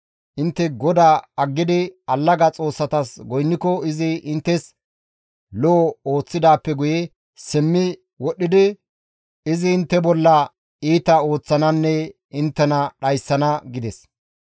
Intte GODAA aggidi allaga xoossatas goynniko izi inttes lo7o ooththidaappe guye simmi wodhdhidi izi intte bolla iita ooththananne inttena dhayssana» gides.